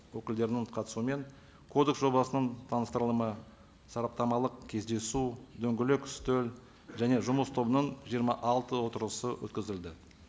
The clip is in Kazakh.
өкілдерінің қатысуымен кодекс жобасының таныстырылымы сараптамалық кездесу дөңгелек үстел және жұмыс тобының жиырма алты отырысы өткізілді